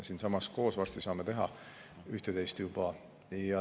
Siinsamas saame koos juba varsti üht-teist teha.